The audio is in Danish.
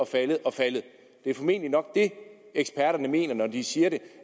faldet og faldet det er formentlig det eksperterne mener når de siger